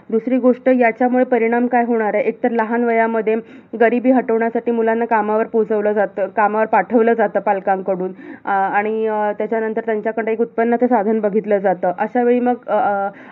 दुसरी गोष्ट याच्यामुळे परिणाम काय होणार आहे? तर लहान वयामध्ये, गरिबी हटवण्यासाठी मुलांना कामावर पोहोचवलं जातं. कामावर पाठवलं जातं पालकांकडून. आणि अं त्यांच्याकडे एक उत्पन्नाचं साधन बघितलं जातं. अशावेळी मग अं